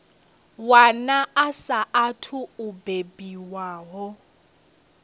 wana a saathu u bebiwaho